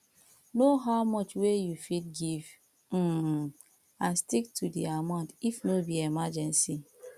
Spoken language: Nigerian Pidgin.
know how much wey you fit give um and stick to di amount if no be emergency